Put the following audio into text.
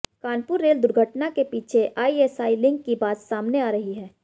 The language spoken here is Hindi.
कानपुर रेल दुर्घटना के पीछे आईएसआई लिंक की बात सामने आ रही है